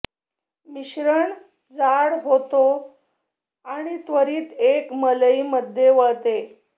मिश्रण जाड होतो आणि त्वरित एक मलई मध्ये वळते